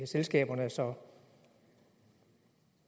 selskaber så